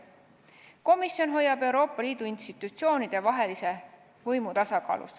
Komisjon hoiab Euroopa Liidu institutsioonide vahelise võimu tasakaalus.